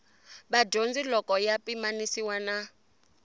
vadyondzi loko ya pimanisiwa na